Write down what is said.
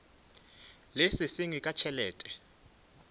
le se sengwe ka tšhelete